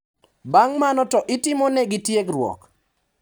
Bang` mano to itimonegi tiegruok.